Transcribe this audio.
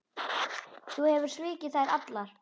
Þú hefur svikið þær allar.